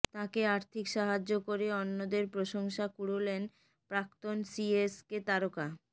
তাঁকে আর্থিক সাহায্য করে অন্যদের প্রশংসা কুড়োলেন প্রাক্তন সিএসকে তারকা